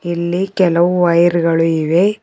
ಇಲ್ಲಿ ಕೆಲವು ವೈರ್ ಗಳು ಇವೆ.